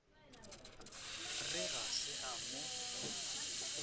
re ga se a mo